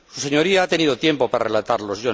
Usted ha tenido tiempo para relatarlos.